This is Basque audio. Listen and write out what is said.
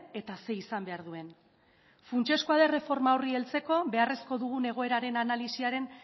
eta zer izan behar duen funtsezkoa da erreforma horri heltzeko beharrezko dugun egoeraren